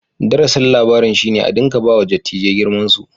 Darasin labarin shi ne a dinka ba wa dattijai girman su.